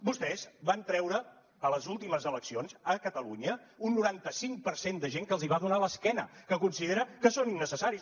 vostès van treure en les últimes eleccions a catalunya un noranta cinc per cent de gent que els va donar l’esquena que considera que són innecessaris